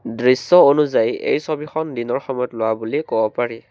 দৃশ্য অনুযায়ী এই ছবিখন দিনৰ সময়ত লোৱা বুলি কব পাৰি।